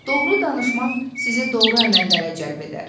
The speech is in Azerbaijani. Doğru danışmaq sizi doğru əməllərə cəlb edər.